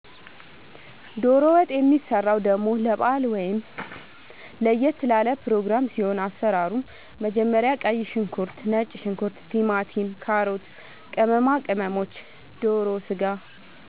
ዶሮ ወጥ የሚሰራው ደሞ ለባአል ወይም ለየት ላለ ፕሮግራም ሲኖር አሰራሩ መጀመሪያ ቀይ ሽንኩርት ነጭ ሽንኩርት ቲማቲም ካሮት ቅመማ ቅመሞች ዶሮ ስጋ